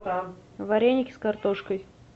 вареники с картошкой